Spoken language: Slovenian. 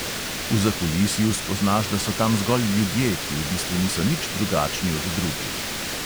V zakulisju spoznaš, da so tam zgolj ljudje, ki v bistvu niso nič drugačni od drugih.